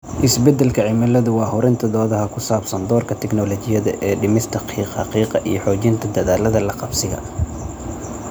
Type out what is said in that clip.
Isbeddelka cimiladu waa hurinta doodaha ku saabsan doorka tignoolajiyada ee dhimista qiiqa qiiqa iyo xoojinta dadaallada la qabsiga.